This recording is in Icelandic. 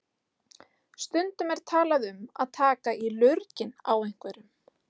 Stundum er talað um að taka í lurginn á einhverjum.